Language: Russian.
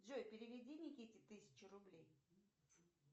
джой переведи никите тысячу рублей